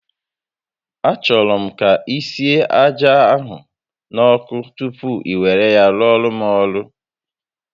A chọrọ m ka isie aja ahụ n'ọkụ tupu i were ya rụọrọ m ọrụ